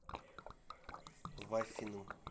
вафиным